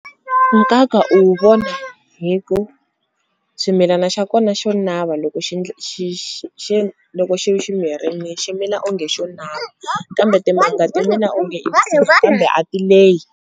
Nkaka u wu vona hi ku swimilana xa kona xo nava loko loko xi xi mirini xi mila onge xo nava kambe timanga timila onge kambe a ti lehi.